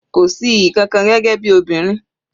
Kò sí iyì kankan gẹ́gẹ́ bí obìnrin.